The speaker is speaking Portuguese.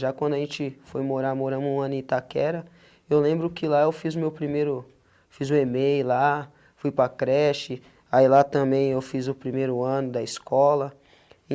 Já quando a gente foi morar, moramos um ano em Itaquera, eu lembro que lá eu fiz o meu primeiro, fiz o (e-mail) lá, fui para creche, aí lá também eu fiz o primeiro ano da escola.